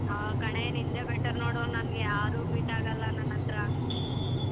ಹ ಕಣೆ ನಿಂದೆ better ನೋಡು ನನ್ ಯಾರು meet ಆಗಲ್ಲ ನನ್ ಹತ್ರ.